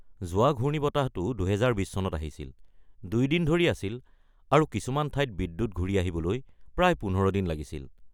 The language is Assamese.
যোৱা ঘূৰ্ণিবতাহটো ২০২০ চনত আহিছিল, ২ দিন ধৰি আছিল আৰু কিছুমান ঠাইত বিদ্যুৎ ঘূৰি আহিবলৈ প্ৰায় ১৫ দিন লাগিছিল।